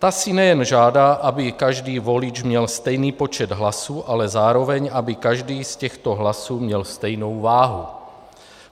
Ta si nejen žádá, aby každý volič měl stejný počet hlasů, ale zároveň aby každý z těchto hlasů měl stejnou váhu.